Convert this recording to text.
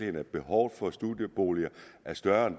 at behovet for studieboliger er større end